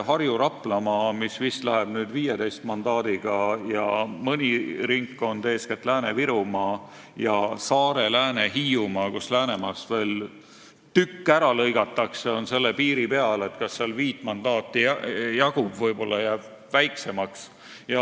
Harju- ja Raplamaa läheb nüüd vist 15 mandaadiga, aga mõni ringkond, eeskätt Lääne-Virumaa ja Saare-, Lääne-, Hiiumaa, kus Läänemaast veel tükk ära lõigatakse, on selle piiri peal, et kas seal viit mandaati jagubki, võib-olla jääb väiksemaks.